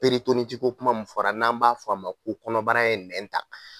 ji ko kuma min fɔra n'an b'a fɔ a ma ko kɔnɔbara ye nɛn ta